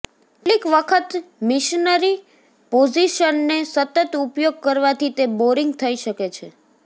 કેટલીક વખત મિશનરી પોઝિશનને સતત ઉપયોગ કરવાથી તે બોરિંગ થઇ શકે છે